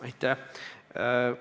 Aitäh!